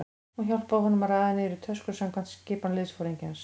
Hún hjálpaði honum að raða niður í tösku samkvæmt skipan liðsforingjans.